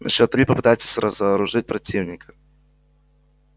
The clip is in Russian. на счёт три попытайтесь разоружить противника